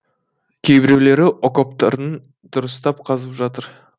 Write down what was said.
кейбіреулері окоптарын дұрыстап қазып жатыр